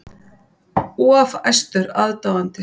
Of æstur aðdáandi